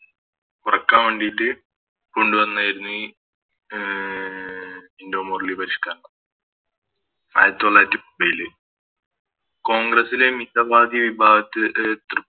കുറക്കാൻ വേണ്ടിറ്റ് അഹ് കൊണ്ടുവന്നായിരുന്നു ഈ മിന്റോ മോർലി പരിഷ്‌ക്കരണം ആയിരത്തി തൊള്ളായിരത്തി കോൺഗ്രസ്സിലെ മിത വാദി വിഭാഗത്തില് അഹ് തൃ